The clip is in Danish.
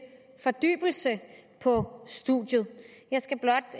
fordybelse på studiet jeg skal blot